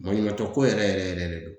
Maɲumantɔ ko yɛrɛ yɛrɛ yɛrɛ de don